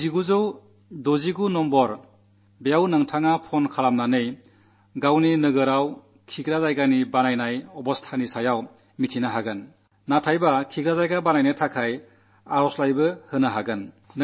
ഈ 1969 എന്ന നമ്പരിൽ ഫോൺ ചെയ്താൽ നിങ്ങൾക്ക് ശൌചാലയങ്ങളുടെ നിർമ്മാണം സംബന്ധിച്ച സ്ഥിതി മനസ്സിലാക്കാനാകുമെന്നു മാത്രമല്ല ശൌചാലയം ഉണ്ടാക്കാനുള്ള അപേക്ഷ കൊടുക്കാനുമാകും